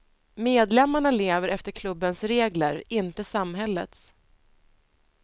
Medlemmarna lever efter klubbens regler, inte samhällets.